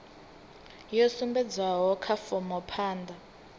yo sumbedzwaho kha fomo phanda